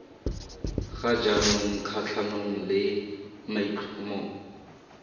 ga jaanong kgatlhanong le maitlhomo